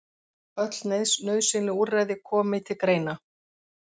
Öll nauðsynleg úrræði komi til greina